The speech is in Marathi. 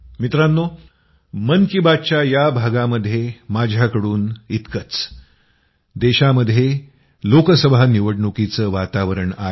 मित्रांनो मन की बात च्या या भागामध्ये माझ्याकडून इतकंच देशामध्ये लोकसभा निवडणुकीचं वातावरण आहे